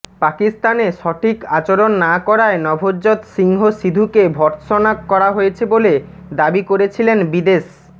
পাকিস্তানে সঠিক আচরণ না করায় নভজ্যোৎ সিংহ সিধুকে ভৎর্সনা করা হয়েছে বলে দাবি করেছিলেন বিদেশ